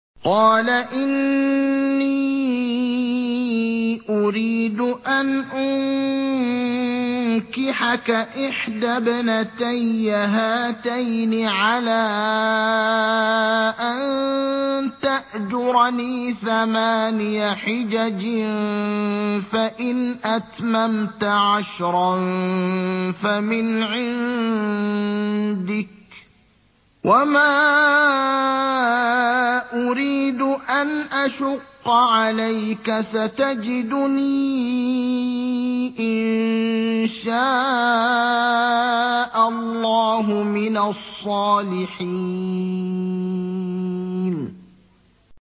قَالَ إِنِّي أُرِيدُ أَنْ أُنكِحَكَ إِحْدَى ابْنَتَيَّ هَاتَيْنِ عَلَىٰ أَن تَأْجُرَنِي ثَمَانِيَ حِجَجٍ ۖ فَإِنْ أَتْمَمْتَ عَشْرًا فَمِنْ عِندِكَ ۖ وَمَا أُرِيدُ أَنْ أَشُقَّ عَلَيْكَ ۚ سَتَجِدُنِي إِن شَاءَ اللَّهُ مِنَ الصَّالِحِينَ